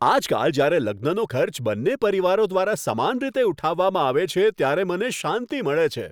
આજકાલ જ્યારે લગ્નનો ખર્ચ બંને પરિવારો દ્વારા સમાન રીતે ઉઠાવવામાં આવે છે, ત્યારે મને શાંતિ મળે છે.